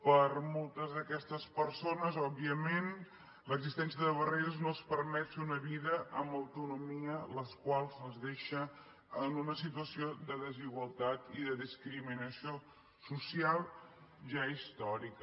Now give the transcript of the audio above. per a moltes d’aquestes persones òbviament l’existència de barreres no els permet fer una vida amb autonomia la qual cosa les deixa en una situació de desigualtat i de discriminació social ja històrica